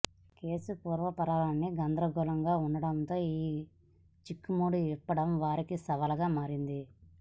case పూర్వపరాలన్ని గందరగోళంగా ఉండటంతో ఈ చిక్కుముడి విప్పడం వారికి సవాల్ గా మారింది